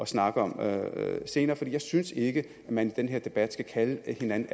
snakke om senere for jeg synes ikke at man i den her debat skal kalde hinanden